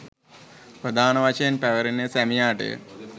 ප්‍රධාන වශයෙන් පැවරෙන්නේ සැමියාටය.